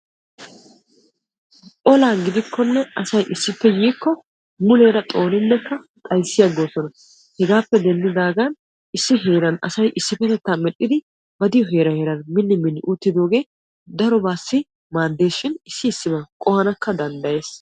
olaa gidikonne asay issippe yiiko muleera xooninne xayssi aggoosona. hegappe denddidaagan issi heeran asay issipetettaa medhdhidi ba diyo heeran heeran mini mini uttidooge darobassi maaddeshin issi issiban qohanakka danddayees.